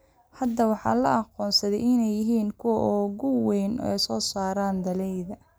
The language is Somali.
Hadda waxaa loo aqoonsaday inay yihiin kuwa ugu waaweyn ee soo saara dalagyada.